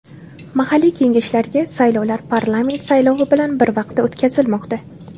Mahalliy kengashlarga saylovlar parlament saylovi bilan bir vaqtda o‘tkazilmoqda.